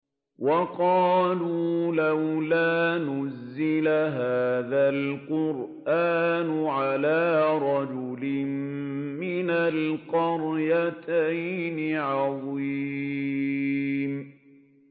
وَقَالُوا لَوْلَا نُزِّلَ هَٰذَا الْقُرْآنُ عَلَىٰ رَجُلٍ مِّنَ الْقَرْيَتَيْنِ عَظِيمٍ